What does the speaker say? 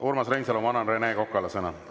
Urmas Reinsalu, ma annan Rene Kokale sõna.